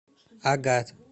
агат